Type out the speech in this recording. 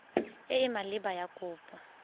e e maleba ya kopo